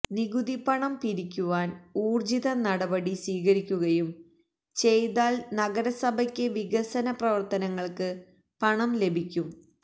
നികുതിപണം പിരിക്കുവാന് ഊര്ജിത നടപടി സ്വീകരിക്കുകയും ചെയ്താല് നഗരസഭയ്ക്ക് വികസന പ്രവര്ത്തനങ്ങള്ക്ക് പണം ലഭിയ്ക്കും